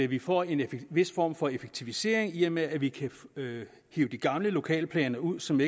vi får en vis form for effektivisering i og med at vi kan hive de gamle lokalplaner ud som